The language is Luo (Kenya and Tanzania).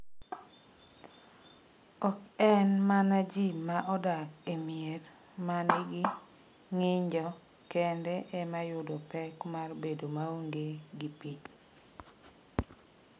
Oken mana ji ma odak e mier ma nigi ng’injo kende ema yudo pek mar bedo maonge gi pi.